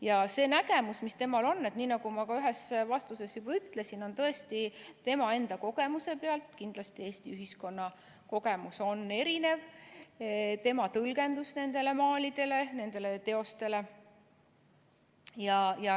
Ja see nägemus, mis temal on, nii nagu ma ühes vastuses juba ütlesin, on tõesti tema enda kogemuse pealt – kindlasti Eesti ühiskonna kogemus on erinev – tema tõlgendus nendele maalidele, nendele teostele.